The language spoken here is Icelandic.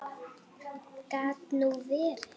Gat nú verið.